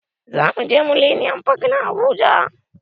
Zamuje mileniyam fak a habuja